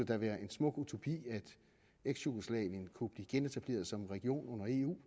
da være en smuk utopi at eksjugoslavien kunne blive genetableret som en region under eu